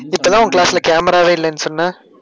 இதுக்கலாம் உன் class ல, camera வே இல்லைன்னு சொன்ன